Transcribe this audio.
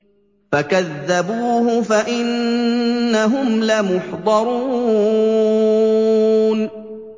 فَكَذَّبُوهُ فَإِنَّهُمْ لَمُحْضَرُونَ